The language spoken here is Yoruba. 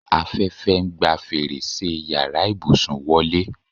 Afẹ́fẹ́ ń gba fèrèsé yàrá ìbùsùn wọlé